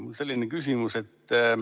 Mul on selline küsimus.